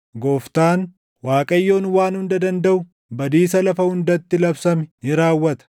Gooftaan, Waaqayyoon Waan Hunda Dandaʼu badiisa lafa hundatti labsame ni raawwata.